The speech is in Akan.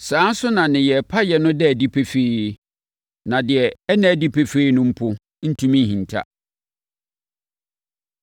Saa ara nso na nneyɛeɛ payɛ no da adi pefee. Na deɛ ɛnna adi pefee no mpo ntumi nhinta.